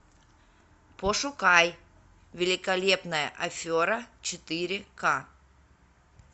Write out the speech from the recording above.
пошукай великолепная афера четыре ка